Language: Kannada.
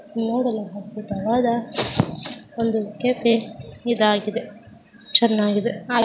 ನೋಡಲು ಅದ್ಭುತವಾದ ಒಂದು ಕೆಫೆ ಇದಾಗಿದೆ.